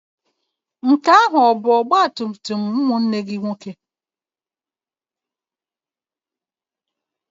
Nke ahụ ọ bụ ọgbatumtum ụmụnne gị nwoke?